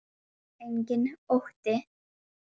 Enginn ótti.